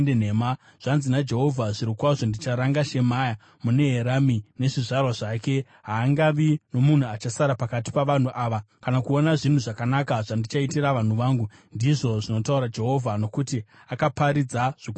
zvanzi naJehovha: Zvirokwazvo ndicharanga Shemaya muNeherami nezvizvarwa zvake. Haangavi nomunhu achasara pakati pavanhu ava, kana kuona zvinhu zvakanaka zvandichaitira vanhu vangu, ndizvo zvinotaura Jehovha, nokuti akaparidza zvokundimukira.’ ”